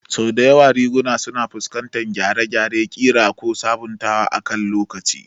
Sau da yawa riguna suna fuskantar gyare-gyaren ƙira ko sabuntawa akan lokaci.